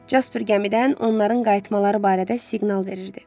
Casper gəmidən onların qayıtmaları barədə siqnal verirdi.